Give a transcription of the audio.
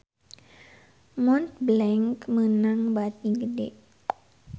Montblanc meunang bati gede